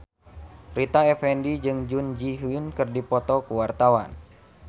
Rita Effendy jeung Jun Ji Hyun keur dipoto ku wartawan